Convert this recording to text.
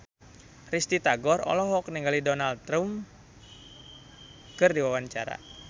Risty Tagor olohok ningali Donald Trump keur diwawancara